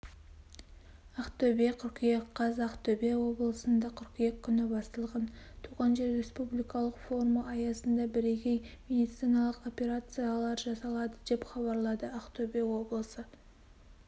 ақтөбе қыркүйек қаз ақтөбе облысында қыркүйек күні басталған туған жер республикалық форумы аясында бірегей медициналық операциялар жасалады деп хабарлады ақтөбе облысы